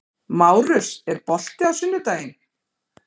Márus, er bolti á sunnudaginn?